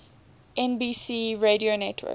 nbc radio network